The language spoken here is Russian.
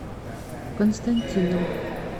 константином